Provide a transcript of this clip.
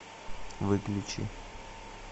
выключи